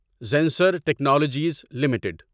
Zensar Technologies limited